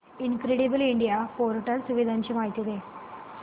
incredible India portal सुविधांची माहिती दे